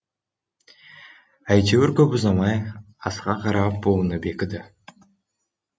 әйтеуір көп ұзамай асқа қарап буыны бекіді